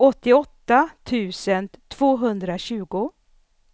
åttioåtta tusen tvåhundratjugo